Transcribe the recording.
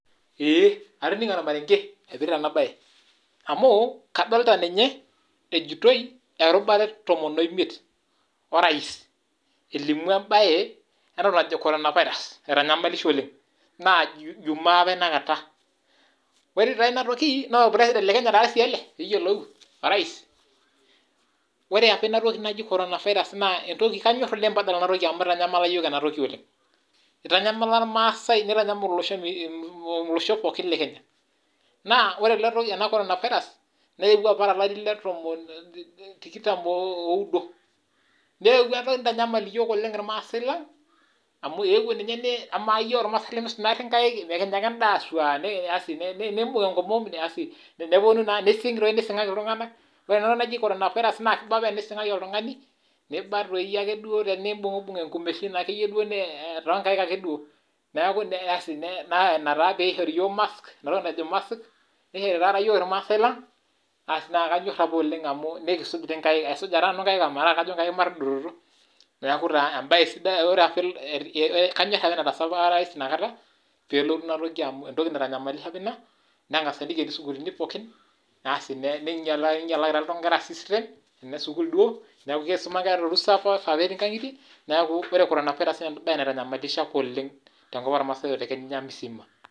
Ee atoningo ormarenge oipirta ena bae, amu adolita ninye ejiotoi erubare etomon oimiet orais, elimu embae ena najo coronavirus naitanyamalisho oleng naa jumaa apa inakata, ore inatoki naa orpresident lekenya taa ele pee iyiolou irais, ore apa inatoki naji coronavirus naa kanyor oleng pee adol ena toki amu eitanyamala yiok ena toki oleng, eitanyamala irmaasai neitanyamal olosho pookin lekenya naa ore ena coronavirus neewuo apa tolari le tikitam oodo. neewuo enatoki neitanyamal ninye yiok irmaasai lang ,amu amaa ninye yiok irmaasai lemeisuj naari nkaek ekinya ake enda fuuaa nimbung enkomom asi nising doi nisingaki iltunganak ,ore enatoki apa naji coronavirus naa kiba apa tenisingaki oltungani neiba tenimbungubung inkumeishin toonkaek ake duo, neeku ina taa pee eishori yiok mask nishori taata yiok irmaasai lang, asi naa kanyor apa oleng amu nikisuj nkaek amu aisuja taa nanu nkaek omataa kajo nkaek matadototo ,neeku kanyor apa enetaasa orais inakata pee elotu inatoki amu entoki apa naitanyamalishe ina nengasi aiken isukuuluni pookin, asi neinyalaki taa nkera system, Kuna esukul duo, neeku keisuma nkera torusa kwasa etii nkagitie neeku ore coronavirus naa embae apa naitanyamalishe oleng tenkop ormaasai otenekenya msima.